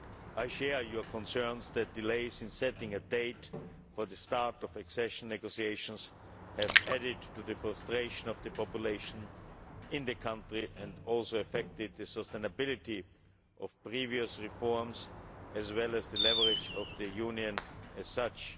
I share your concerns that delays in setting a date for the start of accession negotiations have added to the frustration of the population in the country and also affected the sustainability of previous reforms as well as the leverage of the Union as such.